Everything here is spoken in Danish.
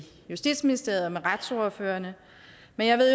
justitsministeriet og med retsordførerne